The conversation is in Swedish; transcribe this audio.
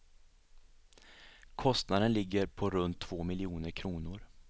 Kostnaden ligger på runt två miljoner kronor.